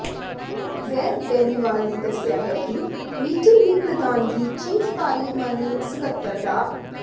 ਵੇਦ ਬੈਨੀਵਾਲ ਨੇ ਦੱਸਿਆ ਹੈ ਕਿ ਮੀਟਿੰਗ ਦੀ ਪ੍ਰਧਾਨਗੀ ਚੀਫ ਪਾਰਲੀਮਾਨੀ ਸਕੱਤਰ ਡਾ